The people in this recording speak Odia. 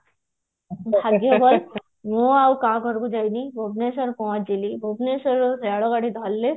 ମୁଁ ଆଉ କାହା ଘରେ ବି ରହିନି ଭୁବନେଶ୍ଵର ପହଞ୍ଚିଲି ଭୁବନେଶ୍ବରରୁ ବଡ ଗାଡି ଧରିଲି